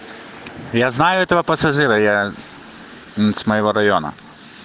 я знаю этого пассажира я мм с моего района